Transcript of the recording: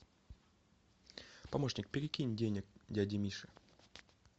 помощник перекинь денег дяде мише